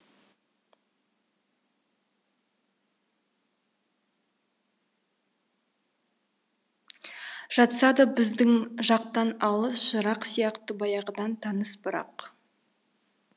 жатса да біздің жақтан алыс жырақ сияқты баяғыдан таныс бірақ